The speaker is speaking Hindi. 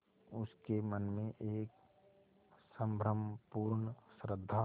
उसके मन में एक संभ्रमपूर्ण श्रद्धा